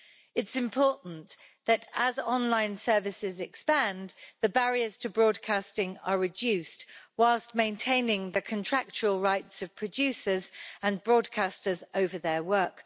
It is important that, as online services expand, the barriers to broadcasting are reduced, whilst maintaining the contractual rights of producers and broadcasters over their work.